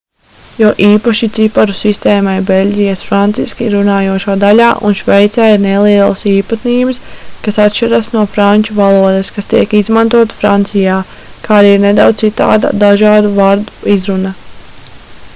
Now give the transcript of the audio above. jo īpaši ciparu sistēmai beļģijas franciski runājošajā daļā un šveicē ir nelielas īpatnības kas atšķiras no franču valodas kas tiek izmantota francijā kā arī ir nedaudz citāda dažu vārdu izruna